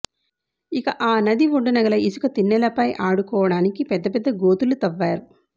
ఇక ఆ నది ఒడ్డున గల ఇసుక తినె్నలపై ఆడుకోడానికి పెద్ద పెద్ద గోతులు తవ్వారు